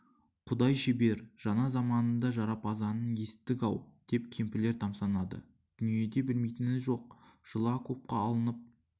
құдай шебер жаңа заманның да жарапазанын есіттік-ау деп кемпірлер тамсанады дүниеде білмейтіні жоқ жылы окопқа алынып